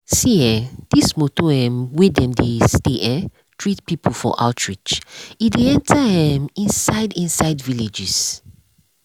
see eh this motor um wey dem dey stay um treat people for outreach e dey enter um inside inside villages.